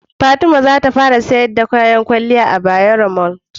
Fatima zata fara siyar da kayan kwaliya a Bayaro Mall